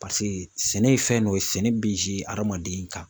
sɛnɛ ye fɛn dɔ ye sɛnɛ bi adamaden kan.